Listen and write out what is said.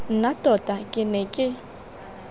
nna tota ke ne ke